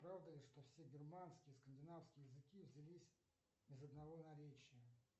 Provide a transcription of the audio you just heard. правда ли что все германские скандинавские языки взялись из одного наречия